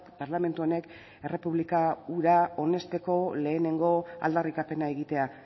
parlamentu honek errepublika hura onesteko lehenengo aldarrikapena egitea